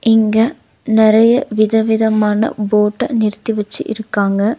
இங்க நறைய விதவிதமான போட்ட நிறுத்தி வச்சி இருக்காங்க.